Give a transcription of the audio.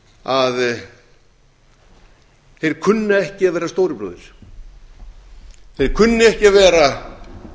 að þeir kunna ekki að vera stóri bróðir þeir kunna ekki að vera